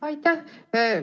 Aitäh!